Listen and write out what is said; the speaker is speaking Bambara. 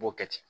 U b'o kɛ ten